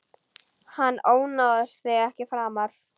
Hann ónáðar þig ekki framar.